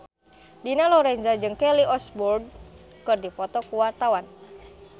Dina Lorenza jeung Kelly Osbourne keur dipoto ku wartawan